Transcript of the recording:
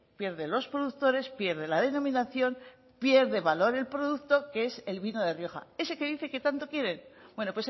pierden los productores pierde la denominación pierde valor el producto que es el vino de rioja ese que dice que tanto quiere bueno